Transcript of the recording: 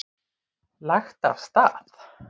Lagt af stað